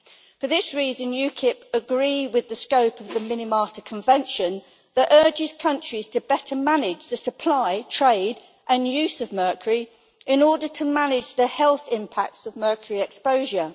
For this reason UKIP agree with the scope of the Minamata Convention that urges countries to better manage the supply, trade and use of mercury in order to manage the health impacts of mercury exposure.